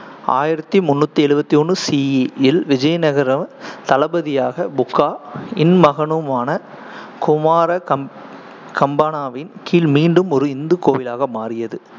ஆயிரத்தி முண்ணூத்தி எழுவத்தி ஒண்ணு CE இல் விஜயநகர தளபதியாக புகா இன் மகனுமான குமார கம்பனாவின் கீழ் மீண்டும் ஒரு இந்து கோவிலாக மாறியது